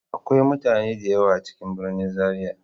Akwai mutane da yawa a cikin birnin zaria.